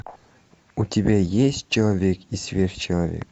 у тебя есть человек и сверхчеловек